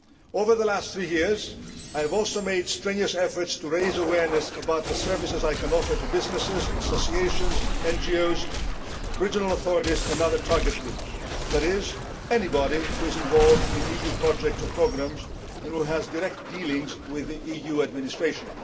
Over the last three years, I have also made strenuous efforts to raise awareness about the services I can offer to businesses, associations, NGOs, regional authorities and other target groups, that is, anybody who is involved in EU projects or programmes and who has direct dealings with the EU administration.